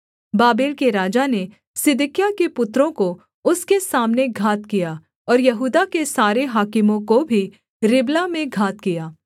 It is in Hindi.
बाबेल के राजा ने सिदकिय्याह के पुत्रों को उसके सामने घात किया और यहूदा के सारे हाकिमों को भी रिबला में घात किया